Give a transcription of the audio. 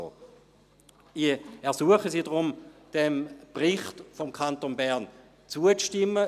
Ich ersuche Sie deshalb, diesem Bericht des Kantons Bern zuzustimmen.